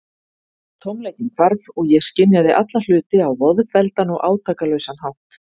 Tómleikinn hvarf, og ég skynjaði alla hluti á voðfelldan og átakalausan hátt.